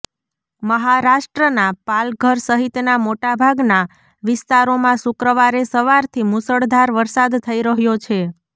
મહારાષ્ટ્રના પાલઘર સહિતના મોટાભાગના વિસ્તારોમાં શુક્રવારે સવારથી મુશળધાર વરસાદ થઈ રહ્યો છે